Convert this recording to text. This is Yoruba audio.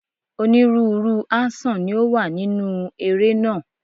Onírúurú áńṣọ̀n ni ó wà nínúu eré náà.